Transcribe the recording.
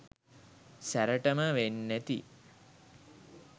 සැරටම වෙන්නැති